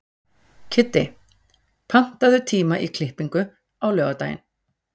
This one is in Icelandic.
Kiddi, pantaðu tíma í klippingu á laugardaginn.